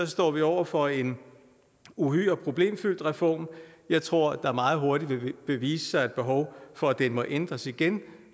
står vi over for en uhyre problemfyldt reform jeg tror at der meget hurtigt vil vise sig et behov for at den må ændres igen